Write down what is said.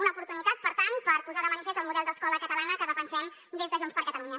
una oportunitat per tant per posar de manifest el model d’escola catalana que defensem des de junts per catalunya